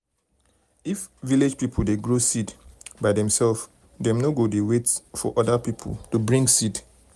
if village people dey grow seed um by theirselves dem no go no go wait for um other people to bring seed.